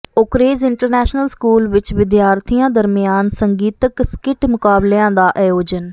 Oakridge International School ਵਿਚ ਵਿਦਿਆਰਥੀਆਂ ਦਰਮਿਆਨ ਸੰਗੀਤਕ ਸਕਿੱਟ ਮੁਕਾਬਲਿਆਂ ਦਾ ਆਯੋਜਨ